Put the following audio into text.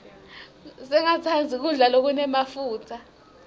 singatsandzi kudla lokunemafutsa